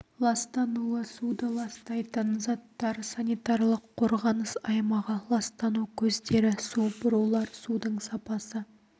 ластануы суды ластайтын заттар санитарлық қорғаныс аймағы ластану көздері су бұрулар судың сапасы